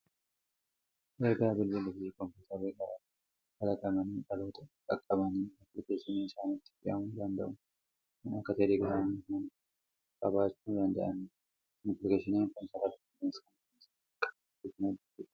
Erga bilbillii fi kompiitaroonni garaa garaa kalaqamani dhaloota qaqqabanii aappilikeeshinii isaanitti fe'amuu danda'u kan akka Teelegiraamii kanaa qabaachuu danda'anii jiru. Aappilikeeshiniin kun sarara qilleensaa mataa isaa kan qabuu fi kan hojjetudha.